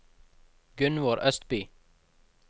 Gunvor Østby